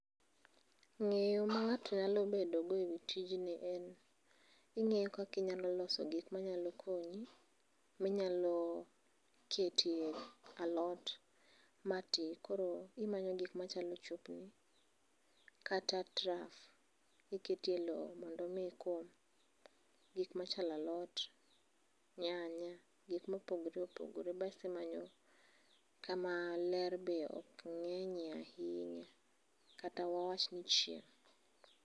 Nge'yo na nga'to nyalo bedogodo e wi tijni en ingeyo kaka inyalo loso gik manyalo konyi, minyalo ketie alot matin koro imanyo gik machalo kata traf iketie lo mondo omi ikom gik machalo alot , nyanya gik ma opogore opogore basi manyo kama ler be oknye'ye ahinya kata wawachni chieng'